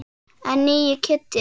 En nýi Kiddi.